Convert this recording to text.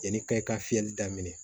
Yanni ka i ka fiyɛli daminɛ